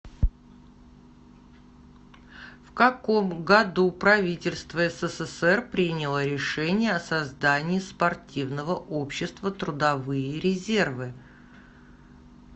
в каком году правительство ссср приняло решение о создании спортивного общества трудовые резервы